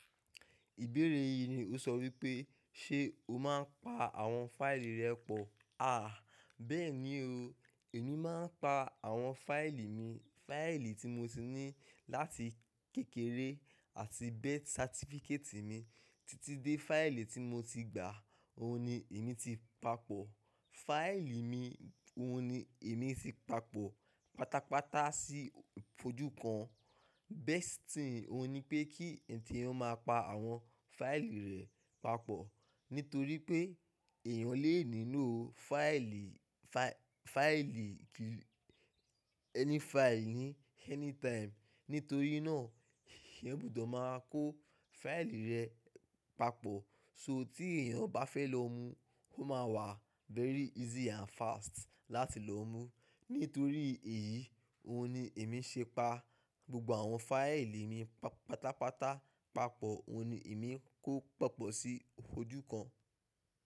Ìbéèrè yìí ni ó sọ wípé ṣe o máa ń pa àwọn fáìlì rẹ pọ̀? Àh bẹ́ẹ̀ ni o, èmi máa ń pa àwọn fáìlì mi. Fáìlì tí mo ti ní láti kékeré àti birth certificate mi títí dé fáìlì tí mo ti gbà, òun ni èmi ti pa pọ̀. Fáìlì mi òun ni èmi ti pa pọ̀ pátápátá sí ojú kan. Best thing òun ni pé kí eeyan máa pa àwọn fáìlì rẹ papọ̀. Nítorí pé ẹ̀yàn lè nílò fáìlì, fáìlì, any fáìlì ni anytime. Nítorí náà eyan gbọ́dọ̀ máa kó fáìlì rẹ papọ̀. So tí èèyàn bá fẹ́ lọ mú, ó máa wà very easy and fast láti lọ mú. Nítorí èyí, òun ni èmi ṣe pa gbogbo àwọn fáìlì mi pátápátá, pa pọ̀, òun ni èmi kó papọ̀ sí ojú kan.